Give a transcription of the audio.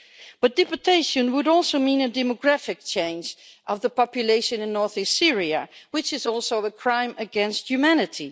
But deportation would also mean a demographic change of the population in north east Syria, which is also a crime against humanity.